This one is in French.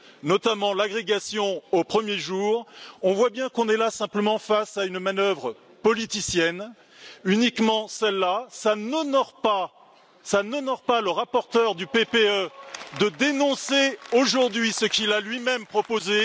notamment l'agrégation au premier jour, on voit bien qu'on est là simplement face à une manœuvre politicienne, uniquement cela. Cela n'honore pas le rapporteur du PPE de dénoncer aujourd'hui ce qu'il a lui même proposé.